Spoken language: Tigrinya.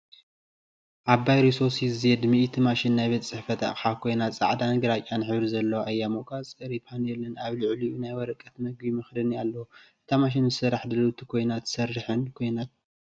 ዓባይ ሪሶ ሲ ዜድ 100 ማሽን ናይ ቤት ጽሕፈት ኣቕሓ ኮይና ጻዕዳን ግራጭን ሕብሪ ዘለዋ እያ። መቆጻጸሪ ፓነልን ኣብ ልዕሊኡ ናይ ወረቐት መግቢ መኽደኒን ኣለዎ። እታ ማሽን ንስራሕ ድልውቲ ኮይና ትሰርሕን ትሰርሕን ኮይና ትረአ።